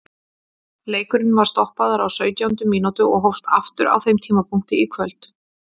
Leikurinn var stoppaður á sautjándu mínútu og hófst aftur á þeim tímapunkti í kvöld.